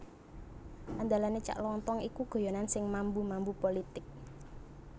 Andalane Cak Lontong iku guyonan sing mambu mambu politik